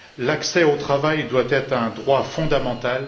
L'accès au travail doit être un droit fondamental.